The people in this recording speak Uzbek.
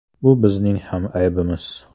Bu bizning ham aybimiz.